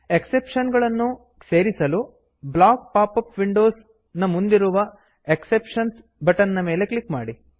exception ಗಳನ್ನು ಸೇರಿಸಲು block pop up windows block pop up windows ನ ಮುಂದಿರುವ ಎಕ್ಸೆಪ್ಷನ್ಸ್ ಎಕ್ಸೆಪ್ಶನ್ಸ್ ಬಟನ್ ನ ಮೇಲೆ ಕ್ಲಿಕ್ ಮಾಡಿ